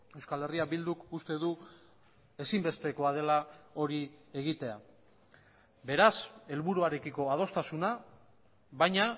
euskal herria bilduk uste du ezinbestekoa dela hori egitea beraz helburuarekiko adostasuna baina